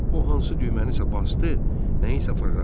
O hansı düyməni isə basdı, nəyisə fırlatdı.